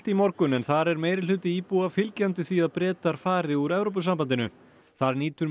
í morgun en þar er meirihluti íbúa fylgjandi því að Bretar fari úr Evrópusambandinu þar nýtur